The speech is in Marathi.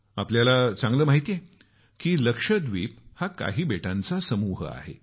आपल्याला चांगलं माहित आहे की लक्षद्वीप हा काही बेटांचा समूह आहे